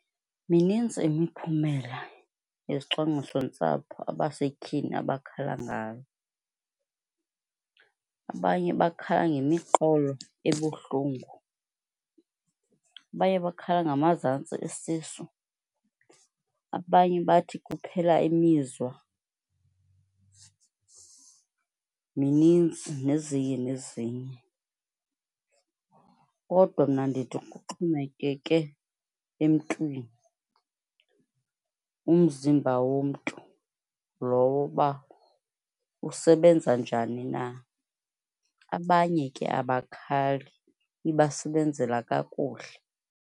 Mininzi imiphumela zezicwangcisontsapho abasetyhini abakhalangayo. Abanye bakhala ngemiqolo ebuhlungu, abaye bakhala ngamazantsi esisu, abanye bathi kuphela imizwa, minintsi nezinye nezinye. Kodwa mna ndithi kuxhomekeke emntwini, umzimba womntu lowo uba usebenza njani na. Abanye ke abakhali, ibasebenzela kakuhle.